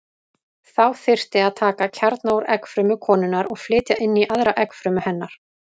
Þá þyrfti að taka kjarna úr eggfrumu konunnar og flytja inn í aðra eggfrumu hennar.